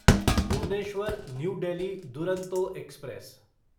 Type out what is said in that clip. Bhubaneswar New Delhi Duronto express